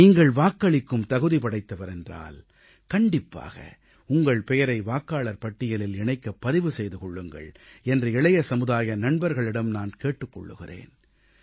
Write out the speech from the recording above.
நீங்கள் வாக்களிக்கும் தகுதி படைத்தவர் என்றால் கண்டிப்பாக உங்கள் பெயரை வாக்காளர் பட்டியலில் இணைக்கப் பதிவு செய்து கொள்ளுங்கள் என்று இளைய சமுதாய நண்பர்களிடம் நான் கேட்டுக் கொள்கிறேன்